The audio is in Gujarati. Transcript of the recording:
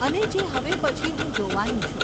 અને જે હવે પછી હું જોવાની છું.